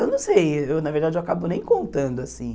Eu não sei, eu na verdade eu acabo nem contando, assim.